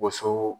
Woso